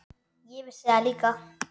Ég vissi það líka.